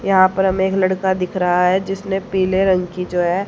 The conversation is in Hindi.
यहां पर हम एक लड़का दिख रहा है जिसने पीले रंग की जो है।